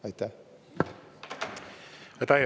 Aitäh!